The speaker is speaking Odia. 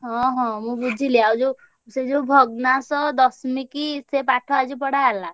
ହଁ ହଁ ମୁଁ ବୁଝିଲି ଆଉ ଯୋଉ ସେ ଯୋଉ ଭଗ୍ନାସ, ~ଦଶ ~ମିକ ସେ ପାଠ ଆଜି ପଢାହେଲା।